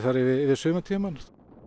yfir sumartímann